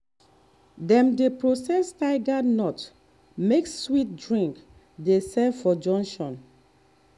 dem dey process tiger nut make sweet drink dey sell for junction